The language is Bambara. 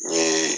N ye